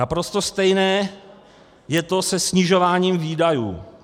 Naprosto stejné je to se snižováním výdajů.